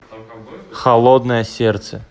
холодное сердце